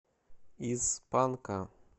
из панка